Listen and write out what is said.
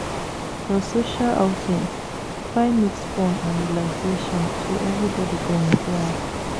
For social outings, try mix fun and relaxation so everybody go enjoy am